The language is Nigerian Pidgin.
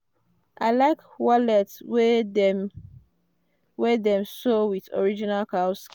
i like wallet wey dem wey dem sow with original cow.